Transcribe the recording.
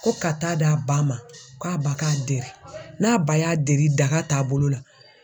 Ko ka taa d'a ba ma, k'a ba k'a deri, n'a ba y'a deri daga taabolo la.